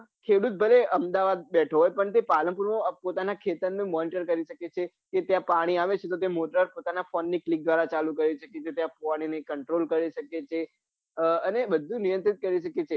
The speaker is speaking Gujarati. ખેડૂત ભલે અમદાવાદ બેઠો હોય પન તે પાલનપુર નું પોતાના ખેતર monitar કરી સકે છે કે ત્યાં પાણી આવે છે તે મોટર પોતાના phone ની કિલપ દ્રારા ચાલુ કરી સકે છે ફુવારા ને control કરી સકે છે અને બઘુ નિયંત્રિત કરી સકે છે